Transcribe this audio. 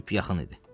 Sübh yaxın idi.